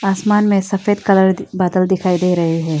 आसमान में सफेद कलर बादल दिखाई दे रहे हैं।